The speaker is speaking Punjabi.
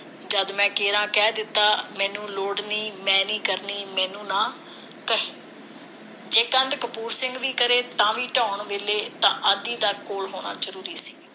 ਜਦ ਮੈਂ ਕਿਹੜਾ ਕਹਿ ਦਿੱਤਾ ਮੈਨੂੰ ਲੋੜ ਨੀ ਮੈ ਨੀ ਕਰਨੀ ਮੈਨੂੰ ਨਾ ਜੇ ਕੰਧ ਕਪੂਰ ਸਿੰਘ ਵੀ ਕਰੇ ਤਾਂ ਵੀ ਢਾਹੁਣ ਵੇਲੇ ਤਾਂ ਆਧੀ ਦਾ ਕੋਲ ਹੋਣਾ ਜਰੂਰੀ ਸੀ